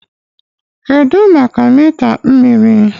Kedu maka mita mmiri?